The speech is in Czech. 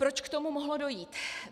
Proč k tomu mohlo dojít?